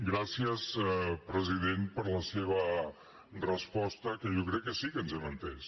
gràcies president per la seva resposta que jo crec que sí que ens hem entès